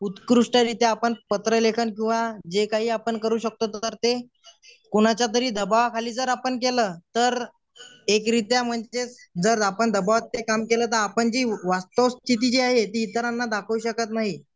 उत्कृष्टरित्या आपण पत्र लेखन किंवा जे काही आपण करू शकतो तर ते कोणाच्या तरी दाबावाखाली जर आपण केलं तर एकरित्या म्हणजे जर आपण दबावमध्ये काम केलो आपण जी वास्तवस्थिती जे आहे ती इतरांना दाखवू शकत नाही.